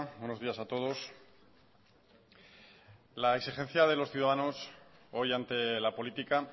buenos días a todos la exigencia de los ciudadanos hoy ante la política